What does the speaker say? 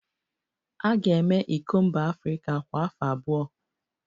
A ga-eme iko mba Afrịka kwa afọ abụọ